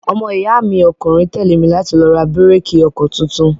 Ọmọ iya mi ọkùnrin tẹ́lé mi láti lọ ra bíréékì ọkọ tuntun.